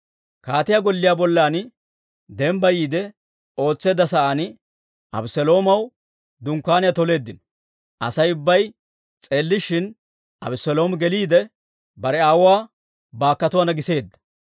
Kaatiyaa golliyaa bollan dembbayiide ootseedda sa'aan, Abeseloomaw dunkkaaniyaa toleeddino; Asay ubbay s'eellishin Abeseeloomi geliide, bare aawuwaa baakkotuwaana giseedda.